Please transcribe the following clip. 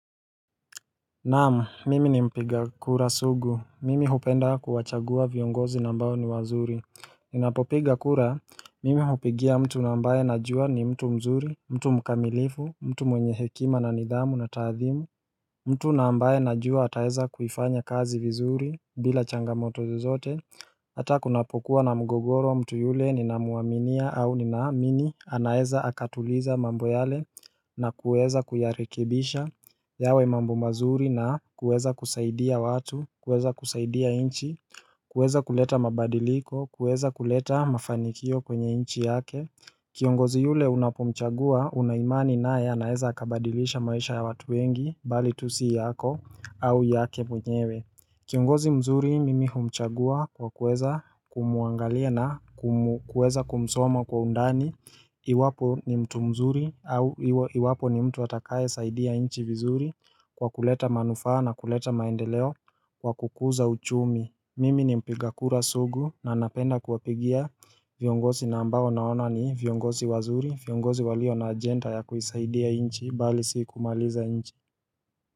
Naam, mimi ni mpiga kura sugu, mimi hupenda kuwachagua viongozi ambao ni wazuri Ninapopiga kura, mimi hupigia mtu ambaye najua ni mtu mzuri, mtu mkamilifu, mtu mwenye hekima na nidhamu na taadhimu mtu ambaye najua ataweza kuifanya kazi vizuri, bila changamoto zozote Hata kunapokuwa na mgogoro mtu yule ninamuaminia au ninaamini anaeza akatuliza mambo yale na kueza kuyarekebisha yawe mambo mazuri na kuweza kusaidia watu, kueza kusaidia inchi, kueza kuleta mabadiliko, kueza kuleta mafanikio kwenye nchi yake Kiongozi yule unapomchagua unaimani naye anaeza akabadilisha maisha ya watu wengi bali tu siyako au yake mwenyewe Kiongozi mzuri mimi humchagua kwa kuweza kumuangalia na kuweza kumsoma kwa undani Iwapo ni mtu mzuri au iwapo ni mtu atakaye saidia nchi vizuri kwa kuleta manufaa na kuleta maendeleo kwa kukuza uchumi Mimi ni mpigakura sugu na napenda kuwapigia viongozi na ambao naona ni viongozi wazuri viongozi walio na agenda ya kuisaidia nchi bali si kumaliza nchi.